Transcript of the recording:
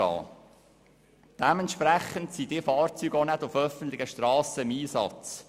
Dementsprechend sind diese Fahrzeuge auch nicht auf öffentlichen Strassen im Einsatz.